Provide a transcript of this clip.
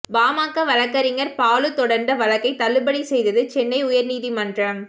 பாமக வழக்கறிஞர் பாலு தொடர்ந்த வழக்கை தள்ளுபடி செய்தது சென்னை உயர் நீதிமன்றம்